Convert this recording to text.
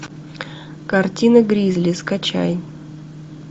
картина гризли скачай